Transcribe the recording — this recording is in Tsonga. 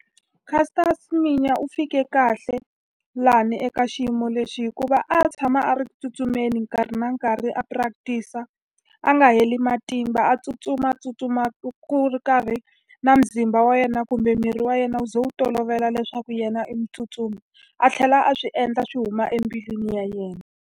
Caster Semenya u fike kahle laha eka xiyimo lexi hikuva a tshama a ri ku tsutsumeni nkarhi na nkarhi a practice-a, a nga heli matimba. A tsutsuma a tsutsuma ku ku ri karhi na muzimba wa yena kumbe miri wa yena wu ze wu tolovela leswaku yena i mutsutsumi. A tlhela a swi endla swi huma embilwini ya yena.